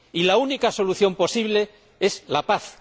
Y la única solución posible es la paz.